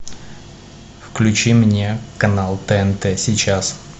включи мне канал тнт сейчас